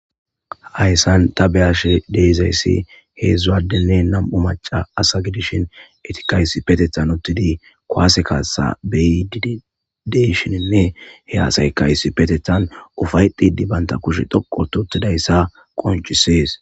Hayssan ta beyashe dezayssi heedzdzuadenne nam7u maca asagidishin etikai ssipetethan uttidi koase kaasa beyideshininne he asay kaysi petethan ufaydidi baynta kushe dhoqototidayssa qonchisees